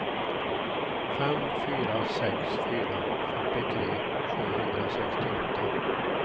fem fyra sex fyra fyrtiotre sjuhundrasextioåtta